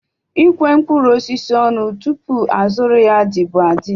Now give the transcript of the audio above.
Ikwe mkpụrụ osisi ọnụ tupu a zụrụ ya dị bu adị